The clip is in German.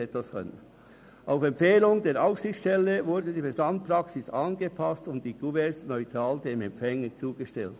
Auf Empfehlung der Aufsichtsstelle wurden die Versandpraxis angepasst und die Kuverts dem Empfänger neutral zugestellt.